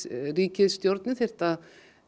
ríkisstjórnin þyrfti að